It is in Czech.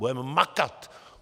Budeme makat.